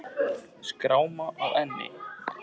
Skráma á enni.